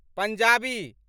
Punjabi